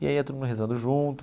E aí ia todo mundo rezando junto.